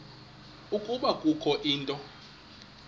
ukuba kukho into